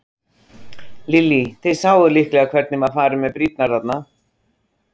Lillý: Þið sáuð líklega hvernig var farið með brýrnar þarna?